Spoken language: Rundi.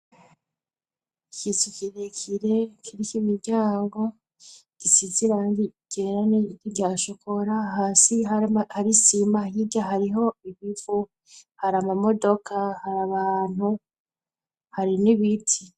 Ikiza ikirekire kitya imiryango gisizirani igerane giryashokora hasi harisima hirya hariho ibivu hari amamodoka hari abantu hari n'ibiti.